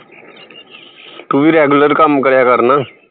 ਤੂੰ ਵੀ regular ਕੰਮ ਕਰਿਆ ਕਰ ਨਾ